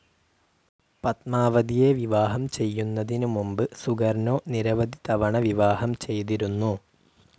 പത്മാവതിയെ വിവാഹം ചെയ്യുന്നതിന് മുൻപ് സുകർനോ നിരവധി തവണ വിവാഹം ചെയ്തിരുന്നു.